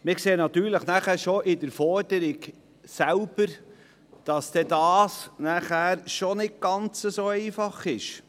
Wir sehen dann aber bereits in der Forderung selbst, dass dies nicht ganz so einfach sein wird.